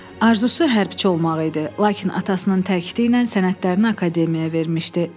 Arzusu hərbçi olmaq idi, lakin atasının təkliki ilə sənədlərini akademiyaya vermişdi.